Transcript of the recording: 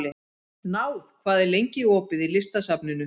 Náð, hvað er lengi opið í Listasafninu?